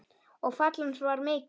Og fall hans var mikið.